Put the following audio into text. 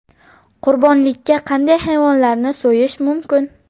Qurbonlikka qanday hayvonlarni so‘yish mumkin?.